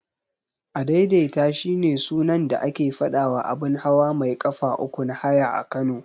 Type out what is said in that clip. Adaidaita shine sunan da ake faɗawa abun hawa mai ƙafa uku na haya a Kano.